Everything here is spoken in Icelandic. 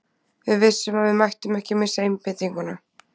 Við vissum að við mættum ekki missa einbeitinguna.